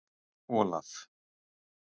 Olaf